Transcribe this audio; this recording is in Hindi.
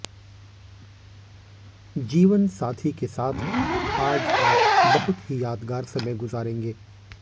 जीवनसाथी के साथ आज आप बहुत ही यादगार समय गुजारेंगे